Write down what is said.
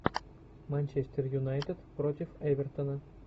манчестер юнайтед против эвертона